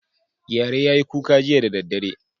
Gyare ya yi kuka jiya da daddare.